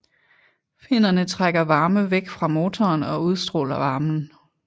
Finnerne trækker varme væk fra motoren og udstråler varmen